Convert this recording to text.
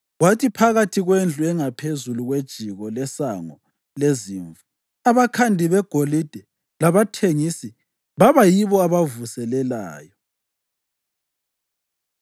kwathi phakathi kwendlu engaphezu kwejiko leSango leZimvu abakhandi begolide labathengisi baba yibo abavuselelayo.